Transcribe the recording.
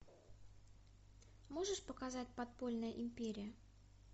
можешь показать подпольная империя